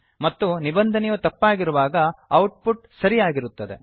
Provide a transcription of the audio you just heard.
ಮತ್ತು ನಿಬಂಧನೆಯು ತಪ್ಪಾಗಿರುವಾಗ ಔಟ್ಪುಟ್ ಸರಿ ಯಾಗಿರುತ್ತದೆ